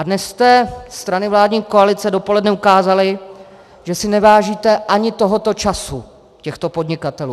A dnes jste, strany vládní koalice, dopoledne ukázaly, že si nevážíte ani tohoto času těchto podnikatelů.